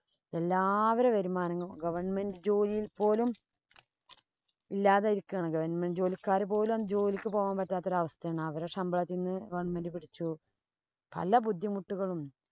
എല്ലാവരുടേം വരുമാനങ്ങള്‍ government ജോലിയില്‍ പോലും ഇല്ലാതിരിക്കുവാണ്. government ജോലിക്കാര് പോലും ജോലിക്ക് പോകാന്‍ പറ്റാത്ത ഒരവസ്ഥയാണ്. അവരുടെ ശമ്പളത്തീന്ന് government പിടിച്ചു. പല ബുദ്ധിമുട്ടുകളും